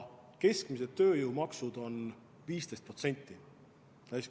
Keskmised tööjõumaksud on 15%.